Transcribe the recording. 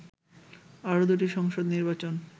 আরও দুটি সংসদ নির্বাচন